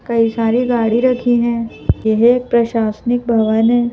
कई सारी गाड़ी रखी हैं यह एक प्रशासनिक भवन है।